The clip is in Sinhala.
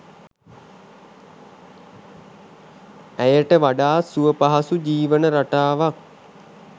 ඇයට වඩාත් සුව පහසු ජීවන රටාවක්